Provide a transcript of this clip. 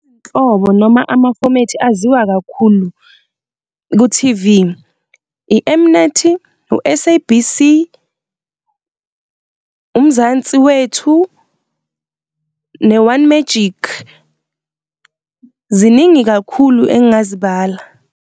Izinhlobo noma amafomethi aziwa kakhulu ku-T_V, i-M_Net, u-S_A_B_C, uMzansi wethu, ne-One Magic. Ziningi kakhulu engazibala.